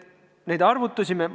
Nüüd arvutustest.